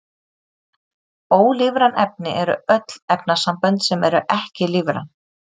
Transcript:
Ólífræn efni eru öll efnasambönd sem eru ekki lífræn.